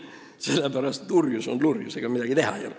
" Sellepärast et lurjus on lurjus, ega midagi teha ei ole.